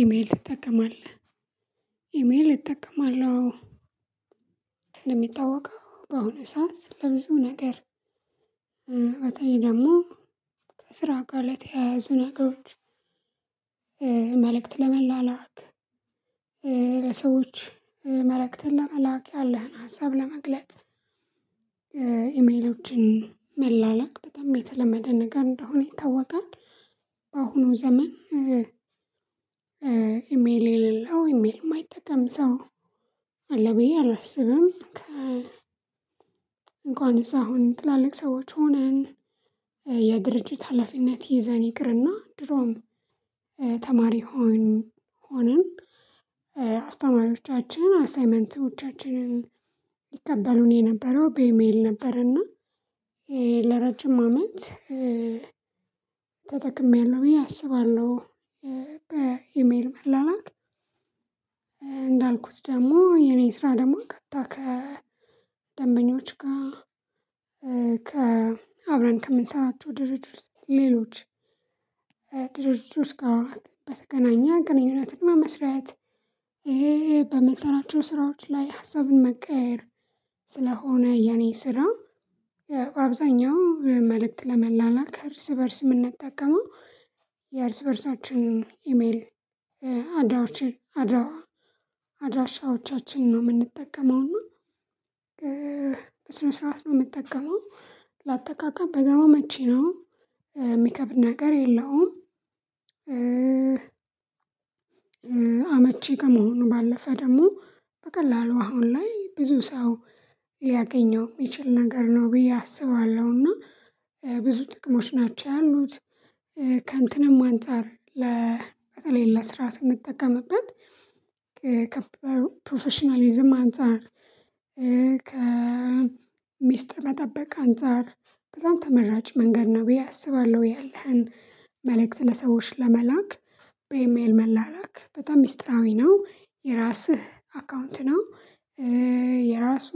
ኢሜል ትጠቀማለህ? ኢሜል እጠቀማለሁ አዎ በአሁኑ ሰዓት ለብዙ ነገር። በተለይ ደግሞ ከስራ ጋር ለተያያዙ ነገሮች። መልእክት ለመላላክ ለሰዎች መልእክትን ለመላክ ያለህን ሀሳብ ለመግለጥ። ኢሜሎችን መላላክ በጣም የተለመደ ነገር እንደሆነ ይታወቃል። በአሁኑ ዘመን። ኢሜል የሌለው ኢሜል የማይጠቀም ሰው አለ ብዬ አላስብም። ከ እንኳንስ አሁን ትላልቅ ሰዎች ሆነን። የድርጅት ሀላፊነት ይዘን ይቅርና ድሮም ተማሪ ሆነን ሆንን አሳይመንቶቻችንን ይቀበሉን የነበረው በኢሜል ነበርና። ለረጅም አመት ተጠቅሜያለሁ ብዬ አስባለሁ። መላላክ እንዳልኩት ደግሞ የኔ ስራ ደግሞ ቀጥታ ከደንበኞች ጋር። ከአብረን ከምንሰራቸው ድርጅት ሌሎች ድርጅት ውስጥ ጋር በተገናኘ ግንኙነት በመስራት ይሄ። በምንሰራቸው ስራዎች ላይ ሀሳብን መቀያየር ስለሆነ የኔ ስራ አብዛኛው መልእክት ለመላላክ እርስ በእርስ የምንጠቀመው የእርስ በእርሳችንን ኢሜል። አድራሻዎቻችንን ነው የምንጠቀመው እና በስነ ስርዓት ነው የምጠቀመው ለአጠቃቀም በጣም አመቺ ነው የሚከብድ ነገር የለውም። አመቺ ከመሆኑ ባለፈ ደግሞ በቀላሉ አሁን ላይ ብዙ ሰው ሊያገኘው የሚችል ነገር ነው ብዬ እና ብዙ ጥቅሞች ናቸው ያሉት። ከእንትንም አንፃር ለ በተለይ ለስራ ስንጠቀምበት ከፕሮፌሽናሊዝም አንፃር ከሚስጥር መጠበቅ አንፃር በጣም ተመራጭ መንገድ ነው ብዬ አስባለሁ። ያለህን መልእክት ለሰዎች ለመላክ በኢሜል መላላክ በጣም ሚስጥራዊ ነው የራስህ አካውንት ነው። የራሱ